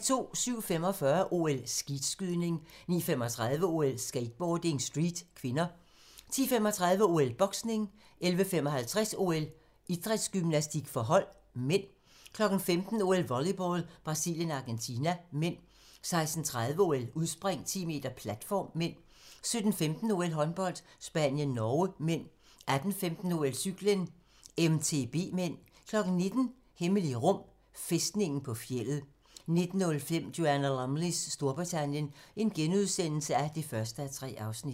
07:45: OL: Skeetskydning 09:35: OL: Skateboarding, street (k) 10:35: OL: Boksning 11:55: OL: Idrætsgymnastik for hold (m) 15:00: OL: Volleyball - Brasilien-Argentina (m) 16:30: OL: Udspring, 10 m, platform (m) 17:15: OL: Håndbold - Spanien-Norge (m) 18:15: OL: Cykling, MTB (m) 19:00: Hemmelige rum: Fæstningen på fjeldet 19:05: Joanna Lumleys Storbritannien (1:3)*